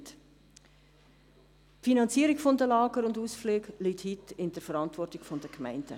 Die Finanzierung der Lager und Ausflüge liegt heute in der Verantwortung der Gemeinden.